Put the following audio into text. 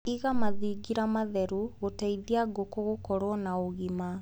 Iga mathingira matheru gũteithia ngũkũ gũkorwo na ũgima.